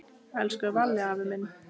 Elsku Valli afi minn.